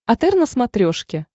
отр на смотрешке